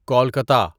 Kolkata